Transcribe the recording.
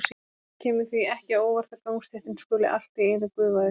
Það kemur því ekki á óvart að gangstéttin skuli allt í einu gufa upp.